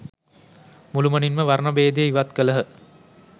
මුළුමනින්ම වර්ණ භේදය ඉවත් කළහ.